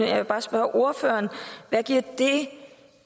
jeg vil bare spørge ordføreren hvad giver